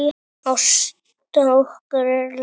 Ásta okkar er látin.